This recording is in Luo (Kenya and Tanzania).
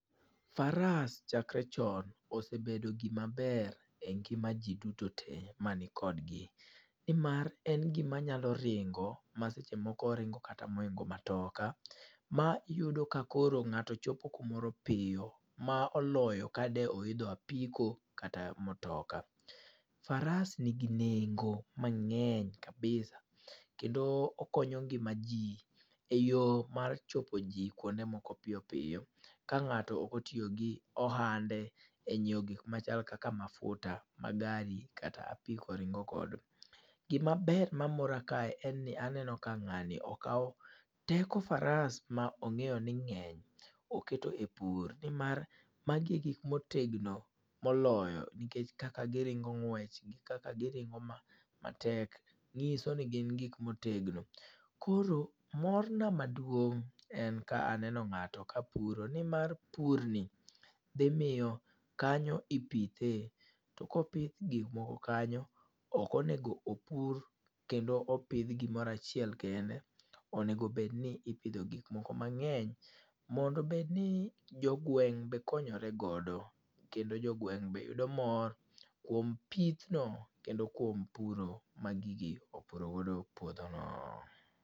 Faras chakre chon osebedo gimaber e ngima ji duto te mani kodgi. Ni mar en gim nyalo ringo ma seche moko ringo kata mohingo matoka. Ma iyudo ka koro ngáto chopo kamoro piyo ma oloyo ka de oidho apiko, kata matoka. Faras nigi nengo mangény kabisa. Kendo okonyo ngima ji e yo mar chopo ji kuonde moko piyo piyo. Ka ngáto ok otiyo gi ohande e nyiweo gik ma chal kaka mafuta ma gari kata apiko ringo godo. Gimaber ma mora kae en ni aneno ka ngáni okawo teko faras, ma ongéyo ni ngény, oketo e pur. Ni mar magi e gik ma otegno moloyo, nikech kaka giringo ng'wech, gi kaka giringo ma matek, nyiso ni gin gik ma otegno. Koro mor na maduong'en ka aneno ngáto ka puro, ni mar purni, dhi miyo kanyo ipithe. To ka opidh gik moko kanyo, ok onego opur kendo opidh gimoro achiel kende. Onego bed ni ipidho gik moko mangény, mondo obed ni jo gweng' be konyore godo. Kendo jogweny be yudo mor kuom pithno, kendo kuom puro ma gigi opuro godo puodho no.